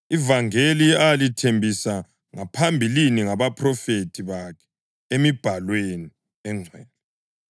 ivangeli alithembisa ngaphambilini ngabaphrofethi bakhe emibhalweni engcwele